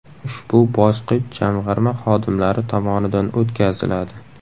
Ushbu bosqich Jamg‘arma xodimlari tomonidan o‘tkaziladi.